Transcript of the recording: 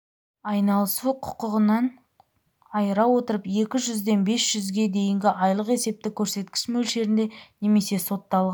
айналысу құғынан айыра отырып екі жүзден бес жүзге дейінгі айлық есептік көрсеткіш мөлшерінде немесе сотталған